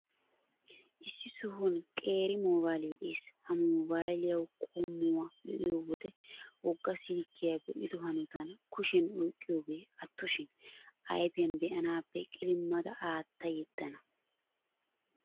Issi sohuwan qeeri mobayilee de'ees. Ha mobayiliyaa qommuwaa be'iyo wode wogga silkkyaa be'ido hanotan kushiyan oyqqiyogee attoshin, ayfiyan be'anaappe qilimada aatta yeddana.